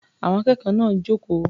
Àwọn akẹ́kọ̀ọ́ náà jókòó.